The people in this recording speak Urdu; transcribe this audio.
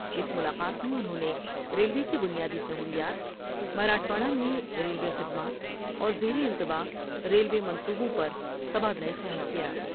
اس ملاقات میں انہوں نے ریلوے کی بنیا دی سہولیات مراٹھواڑہ میں ریلوے خدمات اور زیر التواء ریلوے منصوبوں پر تبادلہ خیال کیا ۔